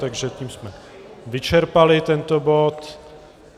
Takže tím jsme vyčerpali tento bod.